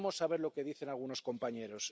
Veremos a ver lo que dicen algunos compañeros.